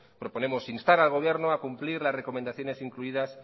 proponemos instar al gobierno a cumplir las recomendaciones incluidas